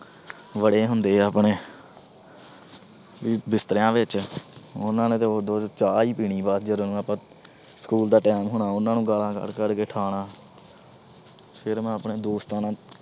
ਵੜੇ ਹੁੰਦੇ ਆਪਣੇ ਬਿਸਤਰਿਆਂ ਵਿੱਚ। ਉਹਨਾਂ ਨੇ ਉਦੋਂ ਨੂੰ ਚਾਹ ਈ ਪੀਣੀ ਬਾਅਦ ਚ, ਜਦੋਂ ਨੂੰ ਆਪਾ school ਦਾ time ਹੋਣਾ। ਉਹਨਾਂ ਨੂੰ ਗਾਲਾਂ ਕੱਢ-ਕੱਢ ਕੇ ਉਠਾਉਣਾ। ਫਿਰ ਮੈਂ ਆਪਣੇ ਦੋਸਤਾਂ ਨਾਲ